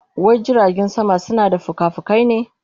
Wai jiragen sama suna da fikafikai ne?